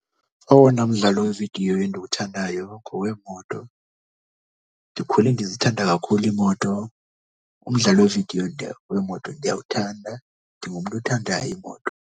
Owona mdlalo wevidiyo endiwuthandayo ngowemoto. Ndikhule ndizithanda kakhulu iimoto umdlalo wevidiyo wemoto ndiyawuthanda. Ndingumntu othanda iimoto.